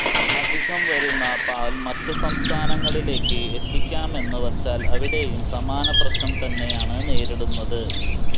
അധികം വരുന്ന പാൽ മറ്റു സംസ്ഥാനങ്ങളിലേക്ക് എത്തിക്കാമെന്ന് വച്ചാൽ അവിടെയും സമാന പ്രശ്നം തന്നെയാണ് നേരിടുന്നത്